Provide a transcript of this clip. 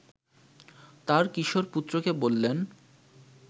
তাঁর কিশোর পুত্রকে বললেন